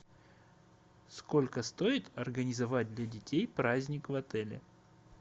сколько стоит организовать для детей праздник в отеле